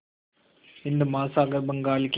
हिंद महासागर बंगाल की